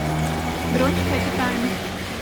бронь хэппи тайм